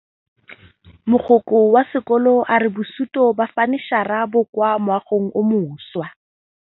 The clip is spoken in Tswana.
Mogokgo wa sekolo a re bosutô ba fanitšhara bo kwa moagong o mošwa.